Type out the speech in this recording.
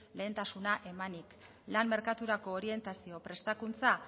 lehentasuna emanik lan merkaturako orientazio prestakuntza